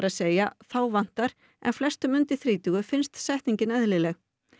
segja þá vantar en flestum undir þrítugu finnst setningin eðlileg